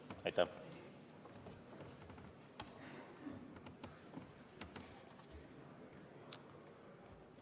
Aitäh!